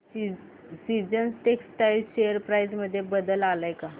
seasons textile share price मध्ये बदल आलाय का